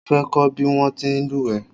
Mo fẹ́ kọ́ bí wọ́n ti ń lúwẹ̀ẹ́